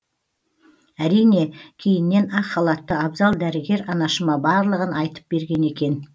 әрине кейіннен ақ халатты абзал дәрігер анашыма барлығын айтып берген екен